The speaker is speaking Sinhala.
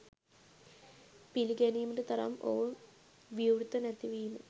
පිළිගැනීමට තරම් ඔවුන් විවෘත නැති වීම